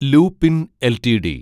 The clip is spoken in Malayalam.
ലൂപിൻ എൽറ്റിഡി